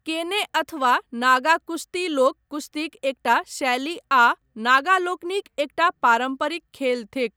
केने अथवा नागा कुश्ती लोक कुश्तीक एकटा शैली आ नागा लोकनिक एकटा पारम्परिक खेल थिक।